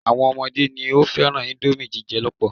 Àwọn ọmọdé ni ó fẹ́ràn íńdómì jíjẹ lọ́pọ̀.